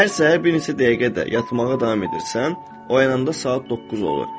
Hər səhər bir neçə dəqiqə də yatmağa davam edirsən, oyananda saat doqquz olur.